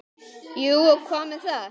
Jú, og hvað með það?